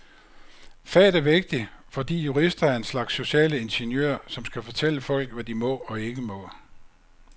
Faget er vigtigt, fordi jurister er en slags sociale ingeniører, som skal fortælle folk, hvad de må og ikke må.